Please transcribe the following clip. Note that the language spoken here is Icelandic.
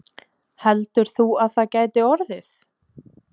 Heldur þú að það gæti orðið?